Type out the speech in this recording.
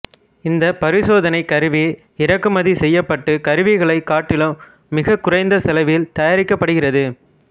இந்தப் பரிசோதனைக் கருவி இறக்குமதி செய்யப்பட்ட கருவிகளைக் காட்டிலும் மிகக் குறைந்த செலவில் தயாரிக்கப்படுகிறது